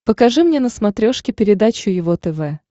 покажи мне на смотрешке передачу его тв